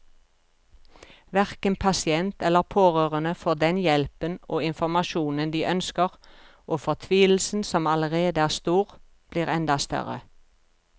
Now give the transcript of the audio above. Hverken pasient eller pårørende får den hjelpen og informasjonen de ønsker, og fortvilelsen som allerede er stor, blir enda større.